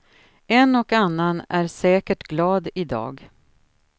En och annan är säkert glad i dag.